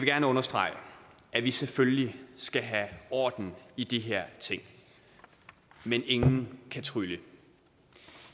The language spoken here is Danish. gerne understrege at vi selvfølgelig skal have orden i de her ting men ingen kan trylle